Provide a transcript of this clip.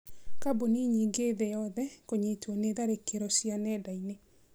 Kambuni nyingĩ thĩ yothe kũnyitwo nĩ tharĩkĩro cia nenda-inĩ